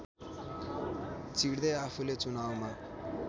चिर्दै आफूले चुनावमा